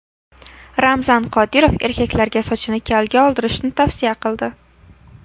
Ramzan Qodirov erkaklarga sochini kalga oldirishni tavsiya qildi.